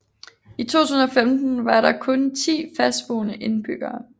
I 2015 var der kun 10 fastboende indbyggere